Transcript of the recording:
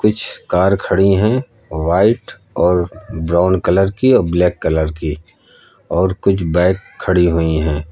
कुछ कार खड़ी हैं व्हाइट और ब्राउन कलर की और ब्लैक कलर की और कुछ बाइक खड़ी हुई हैं।